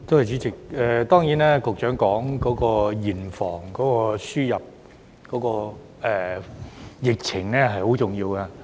主席，當然，局長提到嚴防輸入，對於防範疫情很重要。